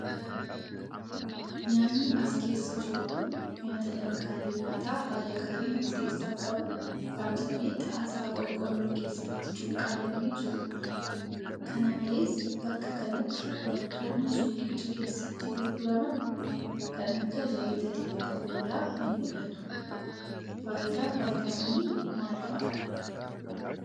Nyaanni as keessa jiru kun, nyaata dhngaalee nyaataa haala gaariin of keessaa qabu, saamsamee xaasaa qorqoorroo keessatti cuqqaalamee jiruu dha. Kana malees bakka kanatti, wantoonni suuqicha keessatti gurguraman kan akka zayita dibata fuulaa ni mul'atu. Faayidaan vitaaminii maal faa dha?